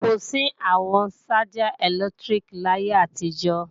Kò sí àwọn ṣájà ẹ̀lẹ́tíríkì láyé àtijọ́